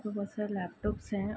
बहोत सारे लैपटॉप्स हैं।